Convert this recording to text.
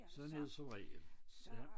Sådan er det som regel